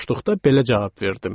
deyə soruşduqda belə cavab verdim: